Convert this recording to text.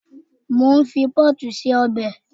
Mo ń fi pọ́ọ̀tù se ọbẹ̀